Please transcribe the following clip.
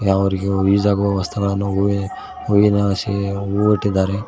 ನಾವವರಿಗೆ use ಆಗುವ ವಸ್ತುಗಳನ್ನ ಹೂವಿನ ಹೂವಿನ ಹಾಸಿಗೆ ಹೂವಿಟ್ಟಿದ್ದಾರೆ.